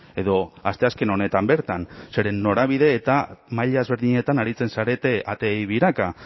edo asteazken honetan bertan zeren norabide eta maila ezberdinetan aritzen zarete ateei biraka